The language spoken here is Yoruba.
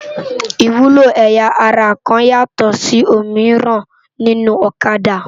Iwúló ëyá àrá kán yátò si ómirán ninú Òkâdá